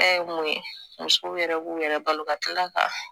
ye mun ye musow yɛrɛ b'u yɛrɛ balo ka tila ka